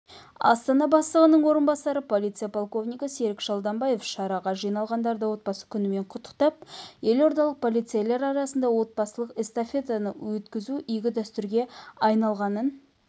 астана бастығының орынбасары полиция полковнигі серік шалданбаев шараға жиналғандарды отбасы күнімен құттықтап елордалық полицейлер арасында отбасылық эстафета өткізу игі дәстүрге айналғанын